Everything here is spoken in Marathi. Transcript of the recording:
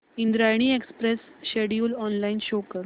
Indrayani express schedule online show कर